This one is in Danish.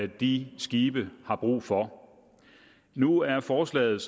de skibe har brug for nu er forslaget